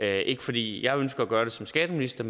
er ikke fordi jeg ønsker at gøre det som skatteminister